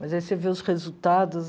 Mas aí você vê os resultados...